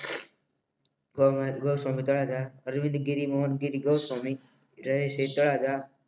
સ્વ અરવિંદ ગીરી મોહન ગીરી ગોસ્વામી રહે છે